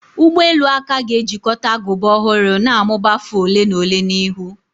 Ụgbọ elu aka ga-ejikọta agụba ọhụrụ na-amụba afọ ole na ole n'ihu.